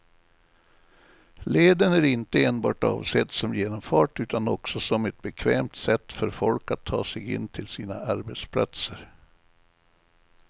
Leden är inte enbart avsedd som genomfart utan också som ett bekvämt sätt för folk att ta sig in till sina arbetsplatser.